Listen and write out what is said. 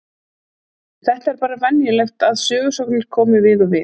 Þetta er bara venjulegt að sögusagnir komi við og við.